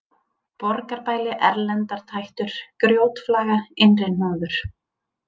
Borgarbæli, Erlendartættur, Grjótflaga, Innri-Hnúður